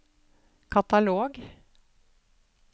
katalog